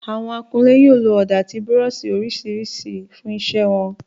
Àwọn akunlé yóò lo ọ̀dà àti búrọ́ọ̀ṣì oríṣiríṣi fún iṣẹ́ wọn